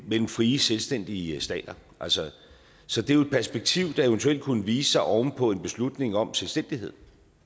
mellem frie selvstændige stater så det er jo et perspektiv der eventuelt kunne vise sig oven på en beslutning om selvstændighed